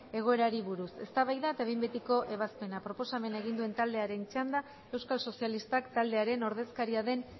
egoerari buruz eztabaida eta behin betiko ebazpena proposamena egin duen taldearen txanda euskal sozialistak taldearen ordezkaria den